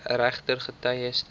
regter getuies direk